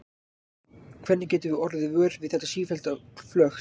Hvernig getum við orðið vör við þetta sífellda flökt?